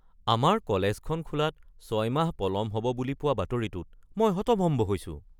আমাৰ কলেজখন খোলাত ৬ মাহ পলম হ’ব বুলি পোৱা বাতৰিটোত মই হতভম্ব হৈছোঁ।